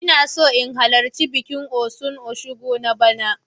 Ina so in halarci bikin Osun Osogbo na bana.